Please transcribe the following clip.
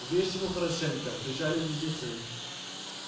врежь ему хорошенько кричали близнецы